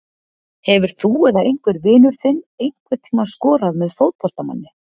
Hefur þú eða einhver vinur þinn einhvern tíma skorað með fótboltamanni?